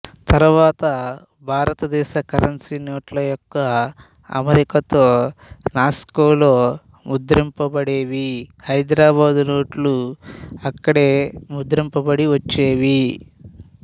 తర్వాత భారతదేశ కరెన్సీ నోట్ల యొక్క అమరికతో నాసిక్లో ముద్రింపబడేవి హైదరాబాద్ నోట్లు అక్కడే ముద్రింపబడి వచ్చేవి